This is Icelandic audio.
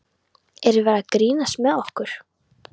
Er verið að grínast með okkur?